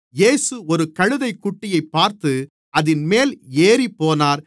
இயேசு ஒரு கழுதைக்குட்டியைப் பார்த்து அதின்மேல் ஏறிப்போனார்